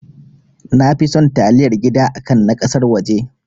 Nafi son taliyar gida akan na ƙasar waje